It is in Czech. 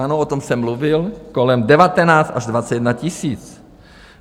Ano, o tom jsem mluvil, kolem 19 až 21 tisíc.